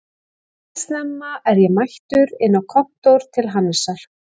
Eldsnemma er ég mættur inn á kontór til Hannesar